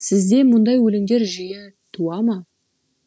сізде мұндай өлеңдер жиі туа ма